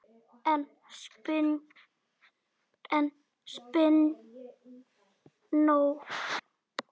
En spennó!